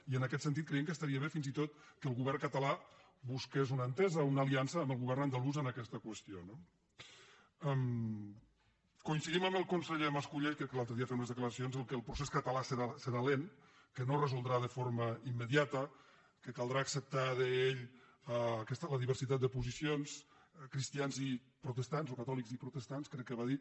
i en aquest sentit creiem que estaria bé fins i tot que el govern català busqués una entesa o una aliança amb el govern andalús en aquesta qüestió no coincidim amb el conseller mas·colell crec que l’al·tre dia en feia unes declaracions en el fet que el pro·cés català serà lent que no es resoldrà de forma im·mediata que caldrà acceptar deia ell la diversitat de posicions cristians i protestants o catòlics i protes·tants crec que va dir